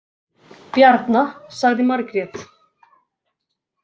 Bjarna, sagði Margrét.